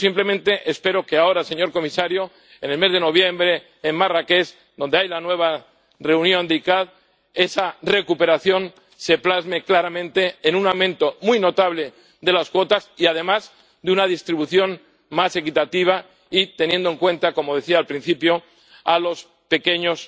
Yo, simplemente, espero que ahora, señor comisario, en el mes de noviembre en Marrakech, donde hay una nueva reunión de la CICAA, esa recuperación se plasme claramente en un aumento muy notable de las cuotas y, además, en una distribución más equitativa y que se tenga en cuenta —como decía al principio— a los pequeños